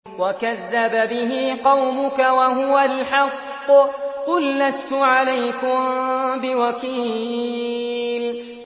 وَكَذَّبَ بِهِ قَوْمُكَ وَهُوَ الْحَقُّ ۚ قُل لَّسْتُ عَلَيْكُم بِوَكِيلٍ